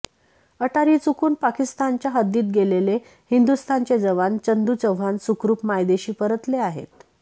अटारी चुकून पाकिस्तानच्या हद्दीत गेलेले हिंदुस्थानचे जवान चंदू चव्हाण सुखरुप मायदेशी परतले आहेत